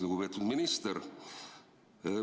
Lugupeetud minister!